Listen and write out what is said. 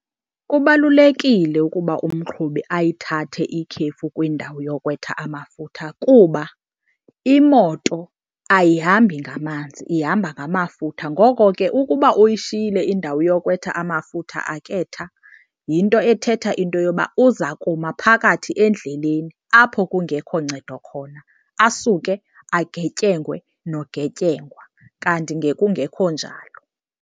Kubalulekile ukuba umqhubi ayithathe ikhefu kwindawo yokwetha amafutha kuba imoto ayihambi ngamanzi ihamba ngamafutha. Ngoko ke ukuba uyishiyile indawo yokwetha amafutha aketha yinto ethetha into yoba uza kuma phakathi endleleni apho kungekho ncedo khona, asuke agetyengwe nogetyengwa kanti ngekungekho njalo.